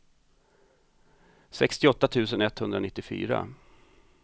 sextioåtta tusen etthundranittiofyra